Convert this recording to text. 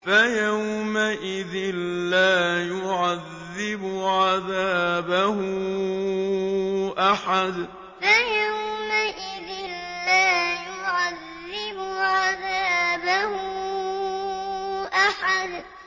فَيَوْمَئِذٍ لَّا يُعَذِّبُ عَذَابَهُ أَحَدٌ فَيَوْمَئِذٍ لَّا يُعَذِّبُ عَذَابَهُ أَحَدٌ